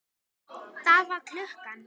Það var klukka.